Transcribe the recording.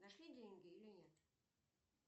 нашли деньги или нет